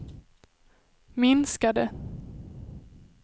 minskade